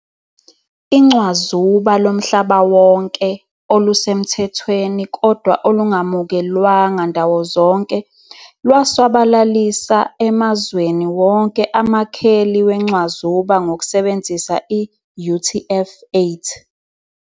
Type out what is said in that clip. Incwazuba loMhlabawonke, olusemthethweni Kodwa olungamukelwanga ndawo zonke, lwasabalalisa Emazweni wonke amakheli wencwazuba ngokusebenzisa i-UTF-8.